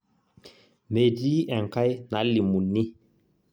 metii enkae nalimuni